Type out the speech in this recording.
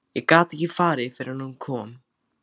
Ég gat ekki farið fyrr en hún kom.